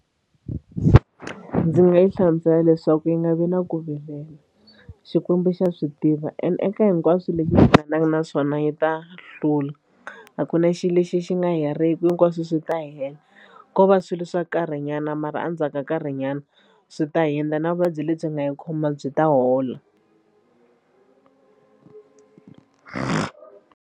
Ndzi nga yi hlamusela leswaku yi nga vi na ku vilela Xikwembu xa swi tiva and eka hinkwaswo leswi hi hlanganaka na swona yi ta hlula a ku na xilo lexi xi nga heriki hinkwaswo swi ta hela ko va swilo swa nkarhinyana mara endzhaku ka nkarhinyana swi ta hundza na vuvabyi lebyi nga yi khoma byi ta hola.